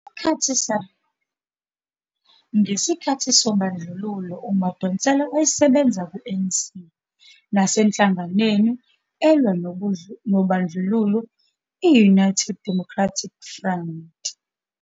Ngesikhathi sobandlululo uMadonsela wayesebenza ku-ANC nasenhlanganweni elwa nobandlululo i -United Democratic Front.